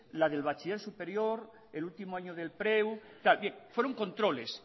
la del bachiller superior el último año del preu bien fueron controles